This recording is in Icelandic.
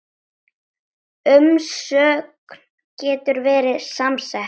Umsögn getur verið samsett